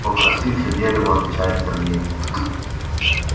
покрасивше дерево отвечает сергей